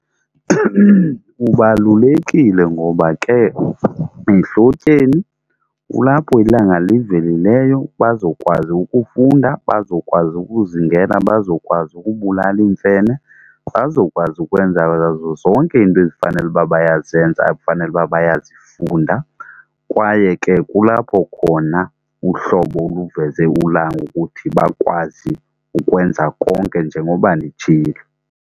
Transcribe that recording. Kubalulekile ngoba ke ehlotyeni kulapho ilanga livelileyo bazokwazi ukufunda, bazokwazi ukuzingela, bazokwazi ukubulala iimfene, bazokwazi ukwenza zonke iinto ezifanele uba bayazenza ekufanele uba bayazifunda, kwaye ke kulapho khona uhlobo luveze ulanga ukuthi bakwazi ukwenza konke njengoba nditshilo.